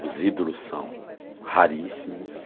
Os ídolos são raríssimos.